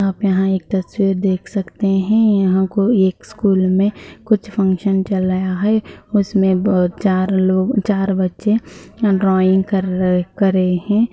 आप यहाँ एक तस्वीर देख सकते हैं यहाँ को एक स्कूल में कुछ फंक्शन चल रहा हैं उसमें ब चार लोग चार बच्चे यहाँ ड्रॉइंग कर करे हैं।